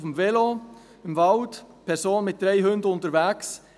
Auf dem Velo, am Waldrand, eine Person mit drei Hunden unterwegs.